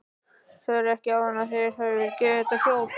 Sagðirðu ekki áðan að þér hefði verið gefið þetta hjól?